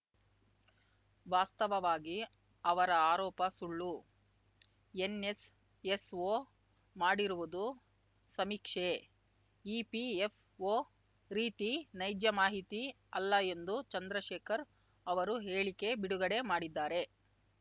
ವಾಸ್ತವವಾಗಿ ಅವರ ಆರೋಪ ಸುಳ್ಳು ಎನ್‌ಎಸ್‌ಎಸ್‌ಒ ಮಾಡಿರುವುದು ಸಮೀಕ್ಷೆ ಇಪಿಎಫ್‌ಒ ರೀತಿ ನೈಜ ಮಾಹಿತಿ ಅಲ್ಲ ಎಂದು ಚಂದ್ರಶೇಖರ್‌ ಅವರು ಹೇಳಿಕೆ ಬಿಡುಗಡೆ ಮಾಡಿದ್ದಾರೆ